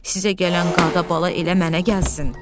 Sizə gələn qada-bala elə mənə gəlsin.